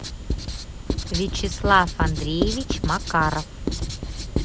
вячеслав андреевич макаров